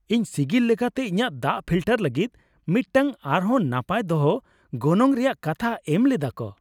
ᱤᱧ ᱥᱤᱜᱤᱞ ᱞᱮᱠᱟᱛᱮ ᱤᱧᱟᱹᱜ ᱫᱟᱜ ᱯᱷᱤᱞᱴᱟᱨ ᱞᱟᱹᱜᱤᱫ ᱢᱤᱫᱴᱟᱝ ᱟᱨ ᱦᱚᱸ ᱱᱟᱯᱟᱭ ᱫᱚᱦᱚ ᱜᱚᱱᱚᱝ ᱨᱮᱭᱟᱜ ᱠᱟᱛᱷᱟ ᱮᱢ ᱞᱮᱫᱟ ᱠᱚ ᱾